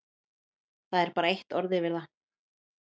Það er bara eitt orð yfir það.